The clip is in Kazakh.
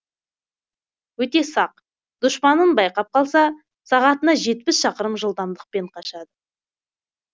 өте сақ дұшпанын байқап қалса сағатына жетпіс шақырым жылдамдықпен қашады